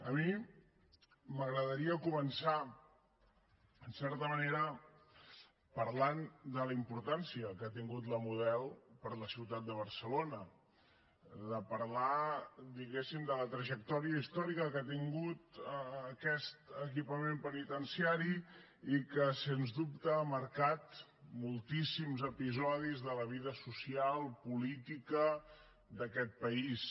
a mi m’agradaria començar en certa manera parlant de la importància que ha tingut la model per a la ciutat de barcelona parlar diguéssim de la trajectòria històrica que ha tingut aquest equipament penitenciari i que sens dubte ha marcat moltíssims episodis de la vida social política d’aquest país